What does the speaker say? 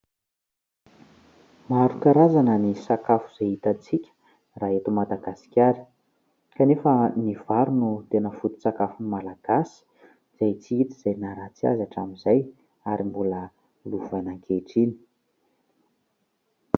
Maro karazana ny sakafo izay hitantsika raha eto Madagasikara kanefa ny vary no tena foto-tsakafon'ny malagasy izay tsy hita izay naha ratsy azy hatramin'izay ary mbola lovana ankehitriny.